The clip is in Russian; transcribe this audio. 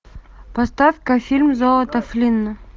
поставь ка фильм золото флина